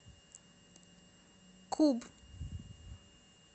куб